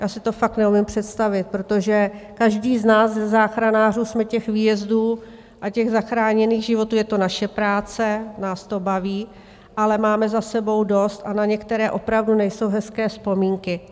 Já si to fakt neumím představit, protože každý z nás, ze záchranářů, jsme těch výjezdů a těch zachráněných životů - je to naše práce, nás to baví - ale máme za sebou dost, a na některé opravdu nejsou hezké vzpomínky.